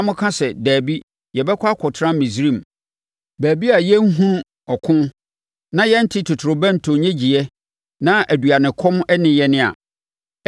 na moka sɛ, ‘Dabi, yɛbɛkɔ akɔtena Misraim, baabi a yɛrenhunu ɔko, na yɛrente totorobɛnto nnyegyeeɛ na aduanekɔm nne yɛn a,’